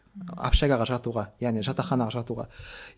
общагаға жатуға яғни жатаханаға жатуға